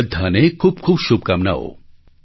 બધાને ખૂબ ખૂબ શુભકામનાઓ